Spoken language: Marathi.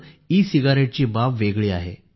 ई सिगारेटची बाब वेगळी आहे